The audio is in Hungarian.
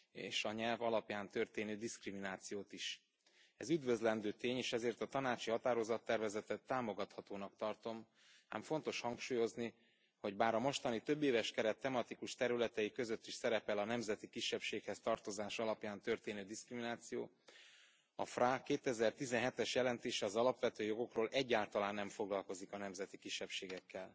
és a nyelv alapján történő diszkriminációt is. Ez üdvözlendő tény, és ezért a tanácsi határozattervezetet támogathatónak tartom, ám fontos hangsúlyozni, hogy bár a mostani többéves keret tematikus területei között is szerepel a nemzeti kisebbséghez tartozás alapján történő diszkrimináció, a FRA 2017 es jelentése az alapvető jogokról egyáltalán nem foglalkozik a nemzeti kisebbségekkel.